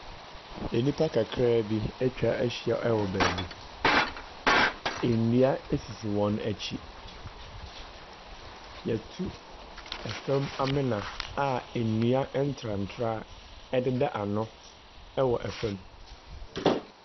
Enipa kakraabi atwa ahyia ɛwɔ baabi, ennua esisi wɔn akyi, yatu ɛfɛm amena a ennua ɛntrantraa ɛdeda ano ɛwɔ ɛfɛm.